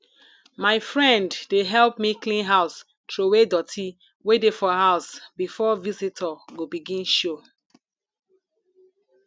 my friend dey help me clean house troway doty wey dey for house before visitor go begin show